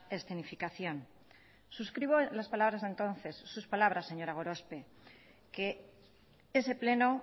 escenificación suscribo las palabras de entonces sus palabras señora gorospe que ese pleno